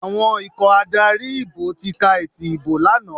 Àwọn ikọ̀ adarí ìbò ti ka èsì ìbò lánàá.